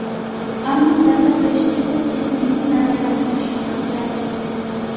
Ammo zarba berishda... Ko‘pchilik mening zarbalarimga shubha qiladi.